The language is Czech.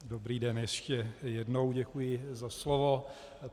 Dobrý den ještě jednou, děkuji za slovo.